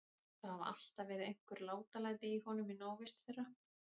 Það hafa alltaf verið einhver látalæti í honum í návist þeirra.